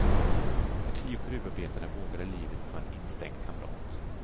De tio gruvarbetarna vågade livet för en instängd kamrat.